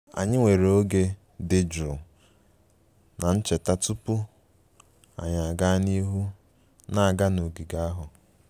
Anyị were oge dị jụụ na ncheta tupu anyị aga n'ihu na-aga n'ogige ahụ